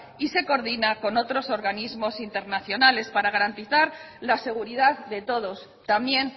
y se coordina con otros organismos internacionales para garantizar la seguridad de todos también